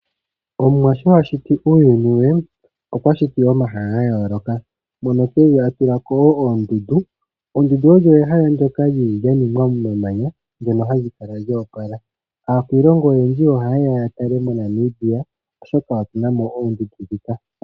Omwa sho a shiti uuyuni we okwa shiti omahala gayoloka mono eli atulako woo oondundu , Oondundu olyo ehala ndoka lyili lyaningwa momamanya ndono hali kala lyo opala. Aakwilongo oyendji oha yeya yatale mo Namibia oshoka otuna mo oondundu dhika.